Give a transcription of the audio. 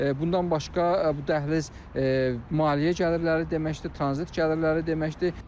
Bundan başqa, bu dəhliz maliyyə gəlirləri deməkdir, tranzit gəlirləri deməkdir.